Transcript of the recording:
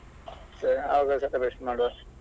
ಸರಿ ಆ ದಿನ celebration ಮಾಡುವ.